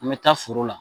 An bɛ taa foro la